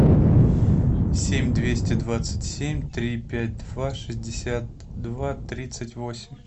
семь двести двадцать семь три пять два шестьдесят два тридцать восемь